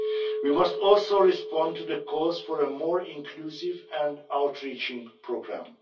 We must also respond to the calls for a more inclusive and outreaching programme.